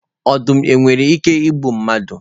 Ọdum nwere ike igbu mmadụ?